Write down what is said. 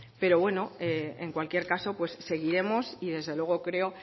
pero bueno en cualquier caso seguiremos y desde luego creo